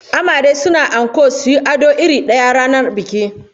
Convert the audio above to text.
Amare suna yin anko suyi ado irin daya ranar biki